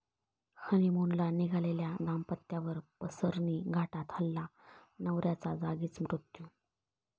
हनिमूनला निघालेल्या दाम्पत्यावर पसरणी घाटात हल्ला, नवऱ्याचा जागीच मृत्यू